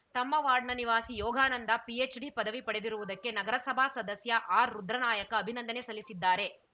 ತಮ್ಮ ವಾರ್ಡ್‌ನ ನಿವಾಸಿ ಯೋಗಾನಂದ ಪಿಎಚ್‌ಡಿ ಪದವಿ ಪಡೆದಿರುವುದಕ್ಕೆ ನಗರಸಭಾ ಸದಸ್ಯ ಆರ್‌ರುದ್ರನಾಯಕ ಅಭಿನಂದನೆ ಸಲ್ಲಿಸಿದ್ದಾರೆ